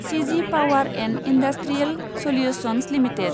सिजि Power and Industrial Solutions limited